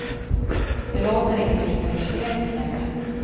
Det låter inte lika hysteriskt längre.